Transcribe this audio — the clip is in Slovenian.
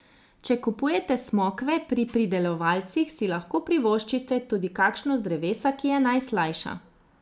Če kupujete smokve pri pridelovalcih, si lahko privoščite tudi kakšno z drevesa, ki je najslajša.